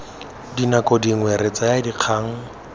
dinako dingwe re tsaya dikgang